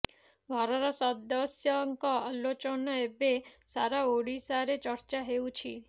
ଘରର ସଦସ୍ୟଙ୍କ ଆଲୋଚନା ଏବେ ସାରା ଓଡିଶାରେ ଚର୍ଚ୍ଚା ହେଉଛି